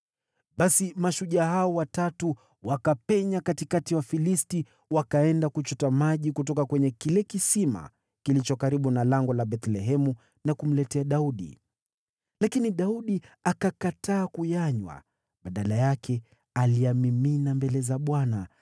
Basi mashujaa hao watatu wakapenya katikati ya Wafilisti, wakaenda kuchota maji kutoka kwa kisima kilicho karibu na lango la Bethlehemu, wakamletea Daudi. Lakini Daudi akakataa kuyanywa. Badala yake, aliyamimina mbele za Bwana .